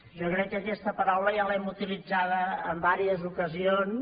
jo crec que aquesta paraula ja l’hem utilitzada en diverses ocasions